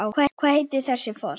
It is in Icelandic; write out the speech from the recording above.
Hvað heitir þessi foss?